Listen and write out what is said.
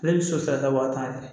Ale bɛ sotarama wa tan de